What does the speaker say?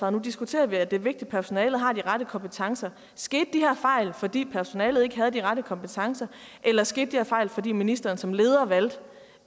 og nu diskuterer vi at det er vigtigt at personalet har de rette kompetencer skete de her fejl fordi personalet ikke havde de rette kompetencer eller skete de her fejl fordi ministeren som leder valgte